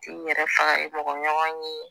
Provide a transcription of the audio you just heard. i yɛrɛ faga i mɔgɔ ɲɔgɔn ye